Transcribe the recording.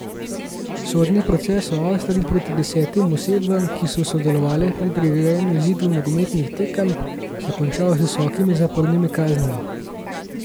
Sodni proces v Avstriji proti desetim osebam, ki so sodelovale pri prirejanju izidov nogometnih tekem, se je končal z visokimi zapornimi kaznimi.